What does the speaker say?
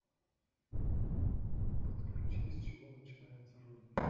подключи с чего начинается родина